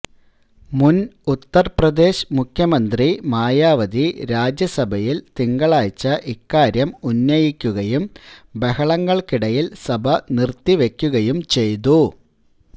മുന് ഉത്തര്പ്രദേശ് മുഖ്യമന്ത്രി മായാവതി രാജ്യസഭയില് തിങ്കളാഴ്ച ഇക്കാര്യം ഉന്നയിക്കുകയും ബഹളങ്ങള്ക്കിടയില് സഭ നിര്ത്തിവെക്കുകയും ചെയ്തു